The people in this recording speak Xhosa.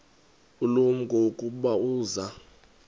ulumko ukuba uza